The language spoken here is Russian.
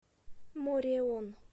мореон